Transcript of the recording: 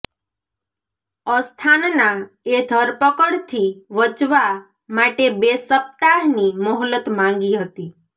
અસ્થાનાએ ધરપકડથી વચવા માટે બે સપ્તાહની મોહલત માંગી હતી